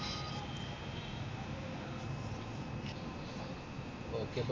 okay അപ്പോം